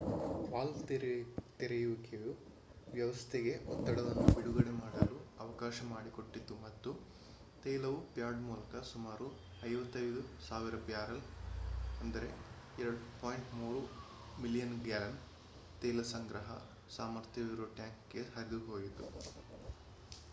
valve ತೆರೆಯುವಿಕೆಯು ವ್ಯವಸ್ಥೆಗೆ ಒತ್ತಡವನ್ನು ಬಿಡುಗಡೆ ಮಾಡಲು ಅವಕಾಶ ಮಾಡಿಕೊಟ್ಟಿತು ಮತ್ತು ತೈಲವು ಪ್ಯಾಡ್ ಮೂಲಕ ಸುಮಾರು 55,000 ಬ್ಯಾರೆಲ್ 2.3 ಮಿಲಿಯನ್ ಗ್ಯಾಲನ್ ತೈಲ ಸಂಗ್ರಹ ಸಾಮರ್ಥ್ಯವಿರುವ ಟ್ಯಾಂಕ್‌ಗೆ ಹರಿದುಹೋಯಿತು